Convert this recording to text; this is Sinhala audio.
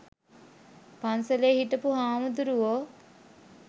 පන්සලේ හිටපු හාමුදුරුවෝ.